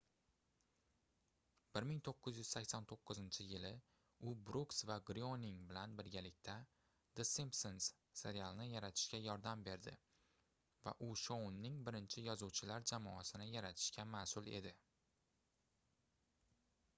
1989-yili u brooks va gryoning bilan birgalikda the simpsons serialini yaratishga yordam berdi va u shouning birinchi yozuvchilar jamoasini yaratishga masʼul edi